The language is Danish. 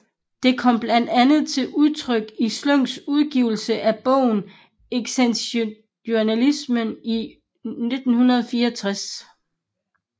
Det kom blandt andet til udtryk i Sløks udgivelse af bogen Eksistentialisme i 1964